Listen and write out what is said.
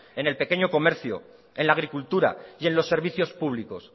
en el pequeño comercio en la agricultura y en los servicios públicos